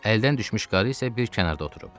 Əldən düşmüş qarı isə bir kənarda oturub.